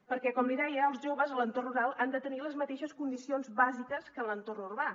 perquè com li deia els joves a l’entorn rural han de tenir les mateixes condicions bàsiques que en l’entorn urbà